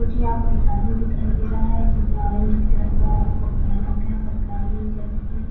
मुझे यहाँ पर एक आदमी दिखाई दे रहा है जिसने ऑरेंज कलर का कोट पहन रखा है सरकारी जेसे की।